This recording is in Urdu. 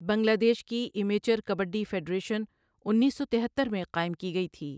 بنگلہ دیش کی امیچر کبڈی فیڈریشن اُنیس سو تہتر میں قائم کی گئی تھی۔